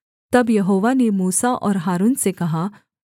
तब यहोवा ने मूसा और हारून से कहा